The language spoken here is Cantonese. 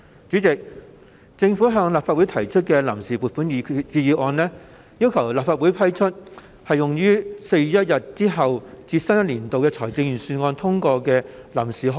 主席，政府向立法會提出臨時撥款決議案，要求立法會批出用於4月1日至新一年度財政預算案通過的臨時開支。